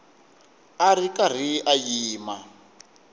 a ri karhi a yima